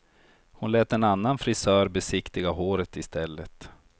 Hon lät en annan frisör besiktiga håret i stället.